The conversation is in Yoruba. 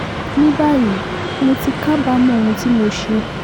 ní báyìí mo ti kábàámọ̀ ohun tí mo ṣe